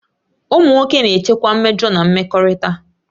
Ụmụ nwoke na-echekwa mmejọ na mmekọrịta